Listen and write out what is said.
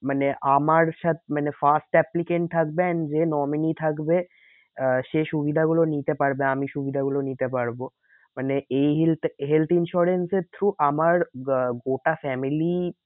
মানে আমার মানে first applicant থাকবে and যে nominee থাকবে আহ সে সুবিধা গুলো নিতে পারবে আমি সুবিধা গুলো নিতে পারবো। মানে এই health insurance এর through আমার আহ গোটা family